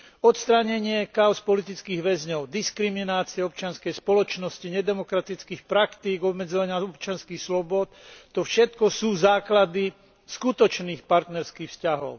Odstránenie káuz politických väzňov, diskriminácia občianskej spoločnosti, nedemokratických praktík obmedzovania občianskych slobôd, to všetko sú základy skutočných partnerských vzťahov.